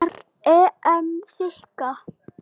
Er EM þynnka?